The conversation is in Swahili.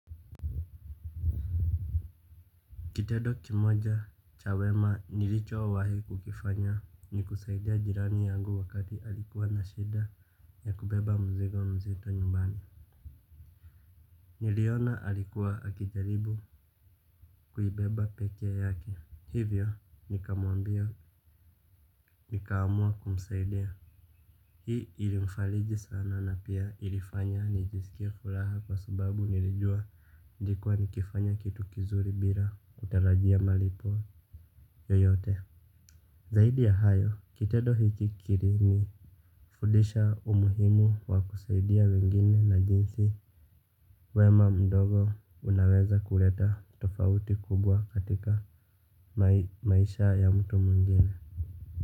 Kitedo kimoja chawema nilicho wahi kukifanya ni kusaidia jirani yangu wakati alikuwa na shida ya kubeba mzigo mzito nyumbani. Niliona alikuwa akijaribu kuibeba peke yake. Hivyo nikamuambia nika amua kumsaidia. Hii ilimfaliji sana na pia ilifanya nijisikie furaha kwa sababu nilijua nilikuwa nikifanya kitu kizuri bila kutarajia malipo yoyote. Zaidi ya hayo, kitedo hiki kiri ni fudisha umuhimu wa kusaidia wengine na jinsi wema mdogo unaweza kuleta tofauti kubwa katika maisha ya mtu mwingine.